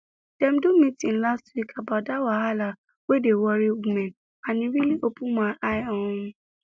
dem do meeting last week about that wahala wey dey worry women and e really open eye um